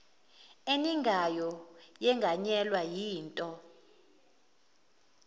eningayo yenganyelwa yinto